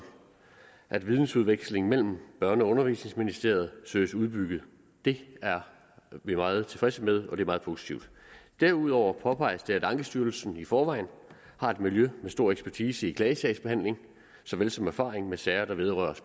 at videnudvekslingen børne og undervisningsministeriet søges udbygget det er vi meget tilfredse med og det er meget positivt derudover påpeges det at ankestyrelsen i forvejen har et miljø med stor ekspertise i klagesagsbehandling såvel som erfaring med sager der vedrører